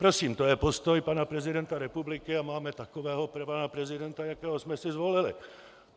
Prosím, to je postoj pana prezidenta republiky a máme takového pana prezidenta, jakého jsme si zvolili.